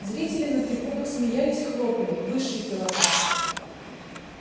зрители на трибунах смеялись хлопали высший пилотаж